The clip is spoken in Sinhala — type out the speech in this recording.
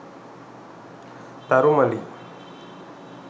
tharumali